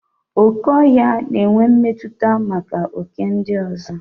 Okè ọhịa na-enwe mmetụta maka oké ndị ọzọ.